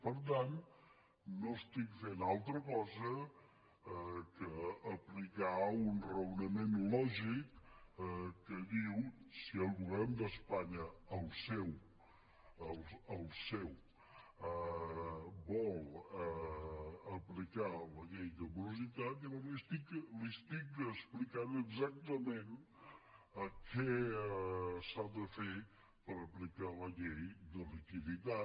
per tant no estic fent altra cosa que aplicar un raonament lògic que diu si el govern d’espanya el seu vol aplicar la llei de morositat llavors li estic explicant exactament què s’ha de fer per aplicar la llei de liquiditat